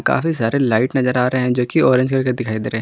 काफी सारे लाइट नजर आ रहे हैं जो कि ऑरेंज कलर का दिखाई दे रहे हैं।